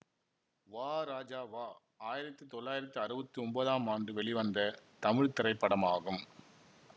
வா ராஜா வா ஆயிரத்தி தொள்ளாயிரத்தி அறுவத்தி ஒன்பதாம் ஆண்டு வெளிவந்த தமிழ் திரைப்படமாகும்